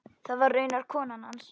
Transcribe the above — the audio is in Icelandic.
Það var raunar konan hans.